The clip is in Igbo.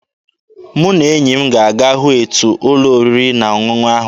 Mụ na enyi m ga-aga hụ etu ụlọ oriri na ọṅụṅụ ahụ dị.